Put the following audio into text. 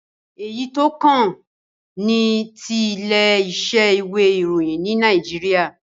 Èyí tó kàn ni ti ilé isẹ́ ìwé ìróyìn ní Naijiria